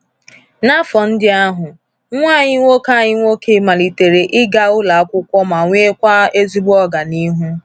N’afọ ndị ahụ, nwa anyị nwoke anyị nwoke malitere ịga ụlọ akwụkwọ ma nwekwa ezigbo ọganihu.